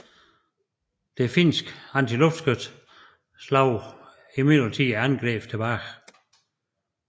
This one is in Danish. Det finske antiluftskyts slog imidlertid angrebene tilbage